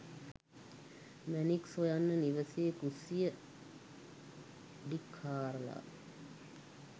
මැණික් සොයන්න නිවසේ කුස්සිය අඩි ක් හාරලා